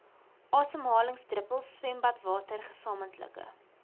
asemhalingsdruppels swembadwater gesamentlike